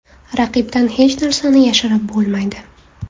Raqibdan hech narsani yashirib bo‘lmaydi.